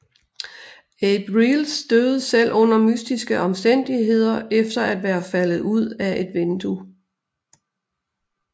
Abe Reles døde selv under mystiske omstændigheder efter at være faldet ud af et vindue